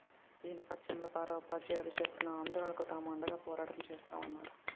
ఈ నేపథ్యంలో పారా ఉపాధ్యాయులు చేస్తున్న ఆందోళనకు తాము అండగా పోరాటం చేస్తామన్నారు